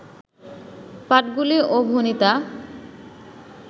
পাঠগুলি ও ভণিতা